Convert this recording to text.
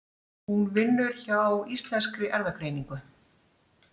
Hún vinnur hjá Íslenskri Erfðagreiningu.